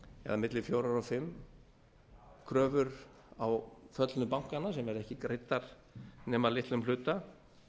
eða milli fjögur og fimm kröfur á föllnu bankana sem eru ekki greiddar nema að litlum hluta